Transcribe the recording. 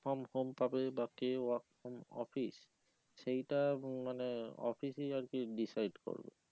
from home পাবে বা কে work from office সেইটা মানে office ই আর কি decide করে